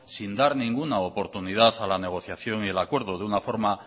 sin dar ninguna oportunidad a la negociación y el acuerdo de una forma